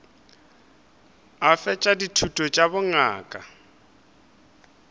a fetša dithuto tša bongaka